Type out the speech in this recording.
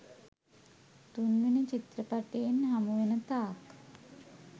තුන්වෙනි චිත්‍රපටයෙන් හමුවෙන තාක්